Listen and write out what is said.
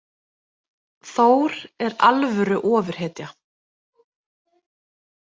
Þór er alvöru ofurhetja